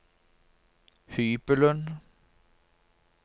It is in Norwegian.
hybelen